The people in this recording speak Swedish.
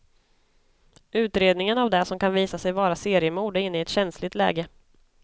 Utredningen av det som kan visa sig vara seriemord är inne i ett känsligt läge.